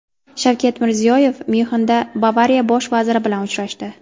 Shavkat Mirziyoyev Myunxenda Bavariya bosh vaziri bilan uchrashdi.